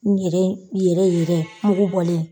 N yɛrɛ yɛrɛ yɛrɛ mugu bɔlen